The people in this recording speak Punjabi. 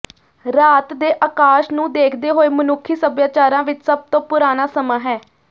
ਰਾਤ ਦੇ ਆਕਾਸ਼ ਨੂੰ ਦੇਖਦੇ ਹੋਏ ਮਨੁੱਖੀ ਸਭਿਆਚਾਰਾਂ ਵਿਚ ਸਭ ਤੋਂ ਪੁਰਾਣਾ ਸਮਾਂ ਹੈ